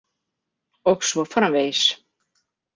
Og svo framvegis.